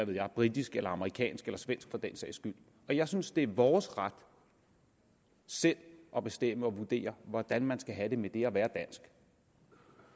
være britisk eller amerikansk eller svensk for den sags skyld og jeg synes det er vores ret selv at bestemme og vurdere hvordan man skal have det med det at være dansk